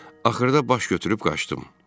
Axırda baş götürüb qaçdım.